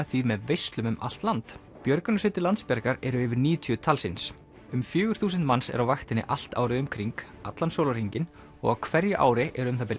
því með veislum um allt land björgunarsveitir Landsbjargar eru yfir níutíu talsins um fjögur þúsund manns eru á vaktinni allt árið um kring allan sólarhringinn og á hverju ári eru um það bil